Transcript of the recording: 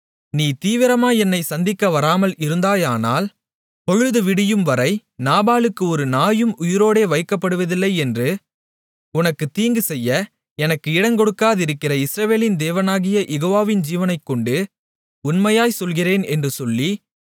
நீ தீவிரமாய் என்னைச் சந்திக்க வராமல் இருந்தாயானால் பொழுது விடியும் வரை நாபாலுக்கு ஒரு நாயும் உயிரோடே வைக்கப்படுவதில்லை என்று உனக்குத் தீங்குசெய்ய எனக்கு இடங்கொடாதிருக்கிற இஸ்ரவேலின் தேவனாகிய யெகோவாவின் ஜீவனைக்கொண்டு உண்மையாய்ச் சொல்கிறேன் என்று சொல்லி